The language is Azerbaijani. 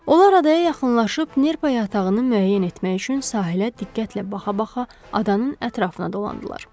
Onlar adaya yaxınlaşıb nerpa yatağını müəyyən etmək üçün sahilə diqqətlə baxa-baxa adanın ətrafına dolandılar.